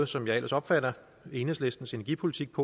som jeg ellers opfatter som enhedslistens energipolitik